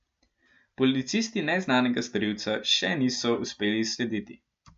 Policisti neznanega storilca še niso uspeli izslediti.